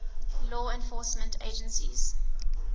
law enforcement agencies